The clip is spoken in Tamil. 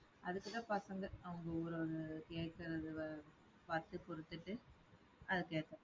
அதுக்குதான் பசங்க அவுங்க ஒரு கேக்கறத பாத்து குடுத்துட்டு அதுக்கு ஏத்த